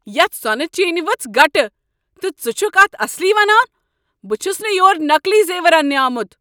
یتھ سۄنہٕ چینہ ؤژھ گلٹھ، تہٕ ژٕ چھکھٕ اتھ اصلی ونان؟ بہٕ چھس نہٕ یور نقلی زیور انٛنہ آمت ۔